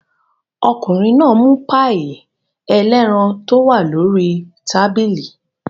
Ọkùnrin náà mú páíì ẹlẹ́ran tó wà lórí tábìlì.